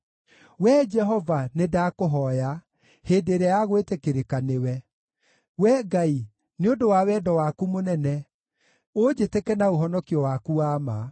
Wee Jehova, nĩndakũhooya hĩndĩ ĩrĩa ya gwĩtĩkĩrĩka nĩwe; Wee Ngai, nĩ ũndũ wa wendo waku mũnene, ũnjĩtĩke na ũhonokio waku wa ma.